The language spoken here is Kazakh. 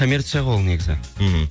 коммерция ғой ол негізі мхм